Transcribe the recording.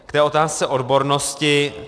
K té otázce odbornosti.